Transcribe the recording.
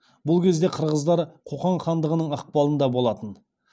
бұл кезде қырғыздар қоқан хандығының ықпалында болатын